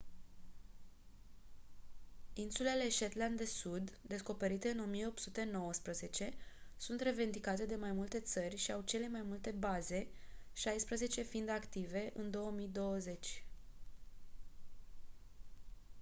insulele shetland de sud descoperite în 1819 sunt revendicate de mai multe țări și au cele mai multe baze șaisprezece fiind active în 2020